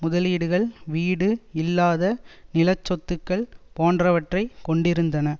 முதலீடுகள் வீடு இல்லாத நிலச்சொத்துக்கள் போன்றவற்றை கொண்டிருந்தன